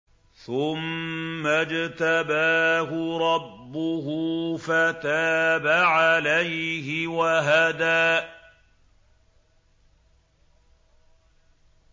ثُمَّ اجْتَبَاهُ رَبُّهُ فَتَابَ عَلَيْهِ وَهَدَىٰ